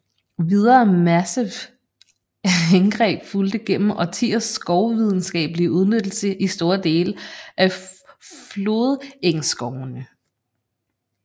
Videre massive indgreb fulgte gennem årtiers skovvidenskablige udnyttelse i store dele af flodengsskovene